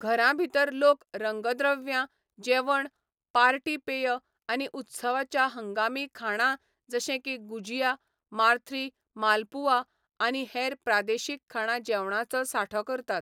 घरां भितर लोक रंगद्रव्यां, जेवण, पार्टी पेय आनी उत्सवाच्या हंगामी खाणां जशे की गुजिया, माथ्री, मालपुआ आनी हेर प्रादेशिक खाणां जेवणांचो सांठो करतात.